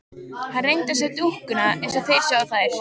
Hann reyndi að sjá dúkkuna eins og þeir sáu þær.